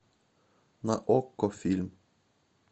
на окко фильм